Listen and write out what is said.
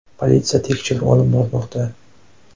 Politsiya tekshiruv olib bormoqda.